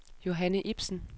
Johanne Ipsen